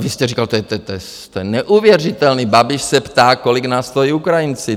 Vy jste říkal - to je neuvěřitelné, Babiš se ptá, kolik nás stojí Ukrajinci.